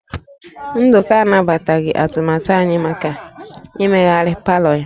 Nduka anabataghị atụmatụ anyị maka imegharị palọ ya